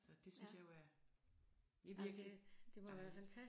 Så det synes jeg jo er det er virkelig dejligt